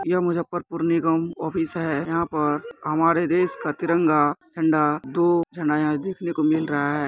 ये मुजफ्फरपुर नगर निगम ऑफिस है यहाँ पर हमारे देश का तिरंगा झंडा दो देखने को मिल रहा है।